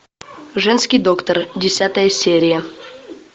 женский доктор десятая серия